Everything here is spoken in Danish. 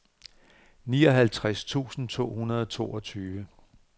nioghalvtreds tusind to hundrede og toogtyve